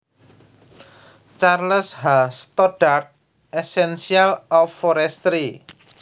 Charles H Stoddard Essentials of Forestry